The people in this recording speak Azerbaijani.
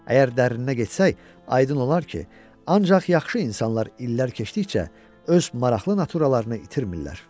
Əgər dərinə getsək, aydın olar ki, ancaq yaxşı insanlar illər keçdikcə öz maraqlı naturallarını itirmirlər.